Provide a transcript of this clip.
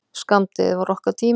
Skammdegið var okkar tími.